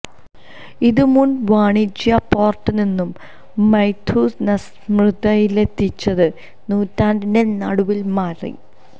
ഇത് മുൻ വാണിജ്യ പോർട്ട് നിന്നും മൈഥുനസ്മൃതിയിലെത്തിച്ചത് നൂറ്റാണ്ടിന്റെ നടുവിൽ മാറി